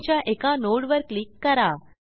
R1च्या एका nodeवर क्लिक करा